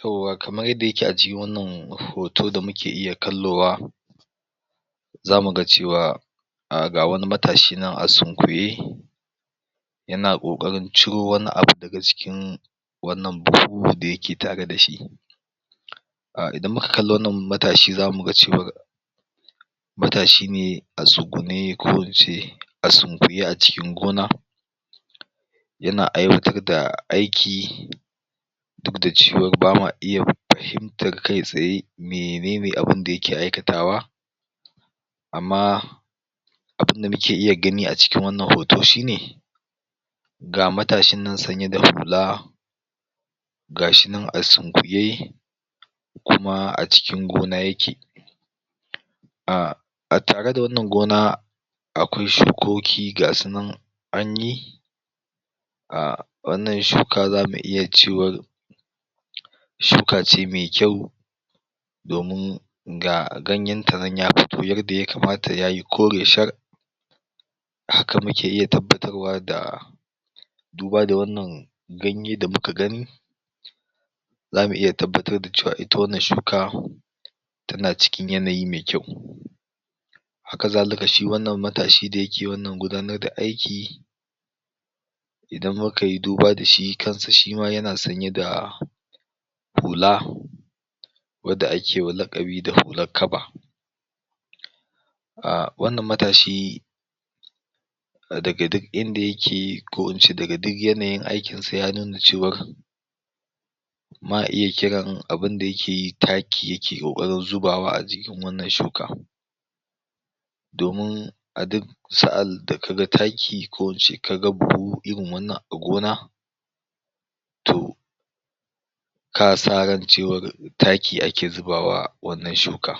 yauwa kamar yadda yake a jikin wannan hoto da muke iya kallowa zamu ga cewa [um ga wani matashi nan a sunkuye yana ƙoƙarin ciro wani abu daga cikin wannan buhu-buhu da yake tare da shi um idan muka kalla wannan matashi zamu ga cewar matashi ne a tsugune ko in ce a sunkuye a cikin gona yana aiwatar da aiki duk da cewa ba ma iya fahimtar kai tsaye menene abunda yake aikatawa amma abunda muke iya gani a cikin wannan hoto shi ne ga matashin nan sanye da hula ga shi nan a sunkuye kuma a cikin gona yake a tare da wannan gona akwai shukoki ga su nan an yi wannan shuka zamu iya cewar shuka ce me kyau domin ga ganyen ta nan ya fito yadda ya kamata yayi kore shar haka muke iya tabbatar wa da duba da wannan ganye da muka gani zamu iya tabbatar da cewa ita wannan shuka tana cikin yanayi me kyau haka zalika shi wannan matashi da yake wannan gudanar da aiki idan muka yi duba da shi kan sa shima yana sanye da hula wadda ake wa laƙabi da hulak kaba um wannan matashi daga duk inda yake ko in ce daga duk yanayin aikin sa ya nuna cewar ma iya abunda yake yi taki yake ƙoƙarin zubawa a wannan shuka domin a duk sa'an da ka ga taki ko ince ka ga buhu irin wannan a gona to ka san ran cewar taki ake zubawa wannan shuka